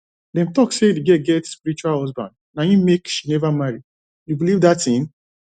dem talk say the girl get spiritual husband na im make she never marry you believe dat thing